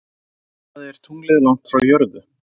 Hvað er tunglið langt frá jörðu?